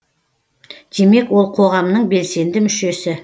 демек ол қоғамның белсенді мүшесі